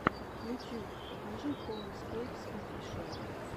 ютюб покажи хоумскейпс офишиал